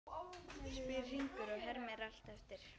spyr Hringur og hermir allt eftir.